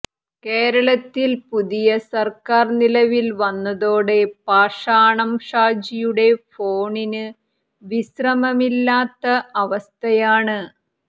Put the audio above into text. കേരളത്തിൽ പുതിയ സർക്കാർ നിലവിൽ വന്നതോടെ പാഷാണം ഷാജിയുടെ ഫോണിന് വിശ്രമമില്ലാത്ത അവസ്ഥയാണ്